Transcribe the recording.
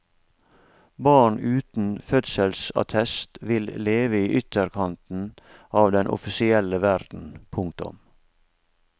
Barn uten fødselsattest vil leve i ytterkanten av den offisielle verden. punktum